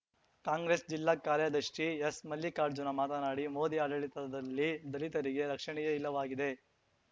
ಕಾಂಗ್ರೆಸ್‌ ಜಿಲ್ಲಾ ಕಾರ್ಯದರ್ಶಿ ಎಸ್‌ಮಲ್ಲಿಕಾರ್ಜುನ ಮಾತನಾಡಿ ಮೋದಿ ಆಡಳಿತದಲ್ಲಿ ದಲಿತರಿಗೆ ರಕ್ಷಣೆಯೇ ಇಲ್ಲವಾಗಿದೆ